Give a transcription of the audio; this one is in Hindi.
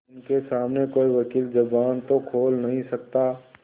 उनके सामने कोई वकील जबान तो खोल नहीं सकता